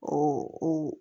ko